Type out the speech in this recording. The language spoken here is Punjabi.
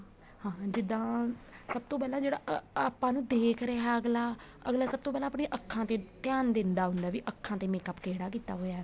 ਹਾਂ ਜਿੱਦਾਂ ਸਭ ਤੋਂ ਜਿਹੜਾ ਆਪਾਂ ਨੂੰ ਦੇਖ ਰਿਹਾ ਅੱਗਲਾ ਅੱਗਲਾ ਸਭ ਤੋਂ ਪਹਿਲਾਂ ਆਪਣੀਆਂ ਅੱਖਾ ਤੇ ਧਿਆਨ ਦਿੰਦਾ ਹੁੰਦਾ ਵੀ ਅੱਖਾ ਤੇ makeup ਕਿਹੜਾ ਕੀਤਾ ਹੋਇਆ ਹੈ